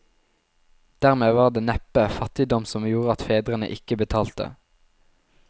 Dermed var det neppe fattigdom som gjorde at fedrene ikke betalte.